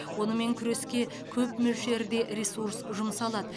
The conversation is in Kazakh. онымен күреске көп мөлшерде ресурс жұмсалады